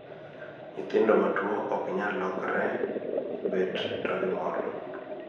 nyithindo matuwo oknyal lokre, bet to gi mol